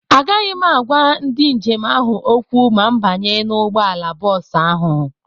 Agaghị m agwa ndị njem ahụ okwu ma m banye n'ụgbọala bọọsụ ahụ.